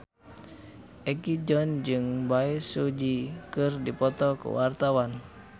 Egi John jeung Bae Su Ji keur dipoto ku wartawan